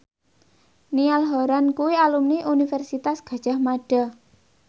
Niall Horran kuwi alumni Universitas Gadjah Mada